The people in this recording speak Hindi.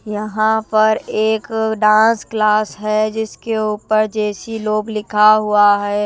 यहां पर एक डांस क्लास है जिसके ऊपर जेसी लोग लिखा हुआ है।